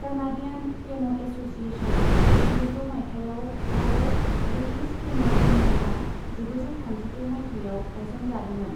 Canadian केन' एस'सिएशना जिगुजौ मायथाइयाव आरो ब्रिटिश केन' इउनियना जिगुजौ थामजिद' मायथाइयाव गायसनजादोंमोन।